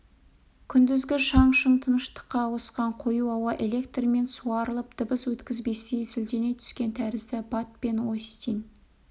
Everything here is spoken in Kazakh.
күндізгі шаң-шұң тыныштыққа ауысқан қою ауа электрмен суарылып дыбыс өткізбестей зілдене түскен тәрізді бат пен остин